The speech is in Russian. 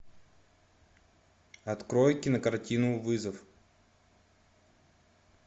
открой кинокартину вызов